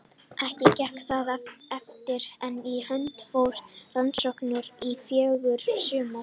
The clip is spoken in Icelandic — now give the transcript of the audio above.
Ekki gekk það eftir, en í hönd fóru rannsóknaferðir í fjögur sumur.